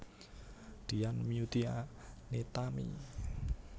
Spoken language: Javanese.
Dian Meutia Nitami